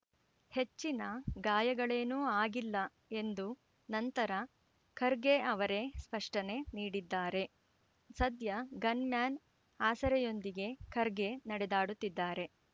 ಹೆಚ್ಚಿನ ಗಾಯಗಳೇನೂ ಆಗಿಲ್ಲ ಎಂದು ನಂತರ ಖರ್ಗೆ ಅವರೇ ಸ್ಪಷ್ಟನೆ ನೀಡಿದ್ದಾರೆ ಸದ್ಯ ಗನ್‌ ಮ್ಯಾನ್‌ ಆಸರೆಯೊಂದಿಗೆ ಖರ್ಗೆ ನಡೆದಾಡುತ್ತಿದ್ದಾರೆ